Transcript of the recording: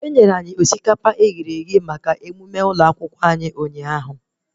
Enyere anyị osikapa eghere eghe maka emụme ụlọ akwụkwọ anyị ụnyaahụ